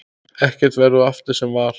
Ekkert verður aftur sem var.